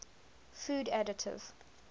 food additive